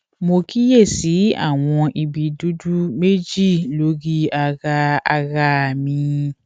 mo kíyè sí àwọn ibi dúdú méjì lórí ara ara mi